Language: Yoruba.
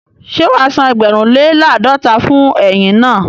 Ṣé wàá san ẹgbẹ̀rún lè làádọ́ta fún ẹyin naa?